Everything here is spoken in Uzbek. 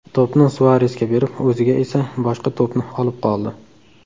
To‘pni Suaresga berib, o‘ziga esa boshqa to‘pni olib qoldi.